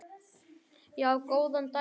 Já, góðan daginn.